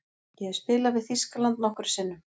Ég hef spilað við Þýskaland nokkrum sinnum.